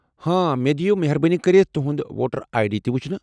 ہاں، مےٚ دِیو مہربٲنی كرِتھ تہُند ووٹر آیہ ڈی تہِ وُچھنہٕ ۔